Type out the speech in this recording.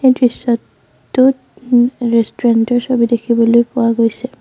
এই দৃশ্যটোত ওম ৰেষ্টুৰেণ্ট ৰ ছবি দেখিবলৈ পোৱা গৈছে।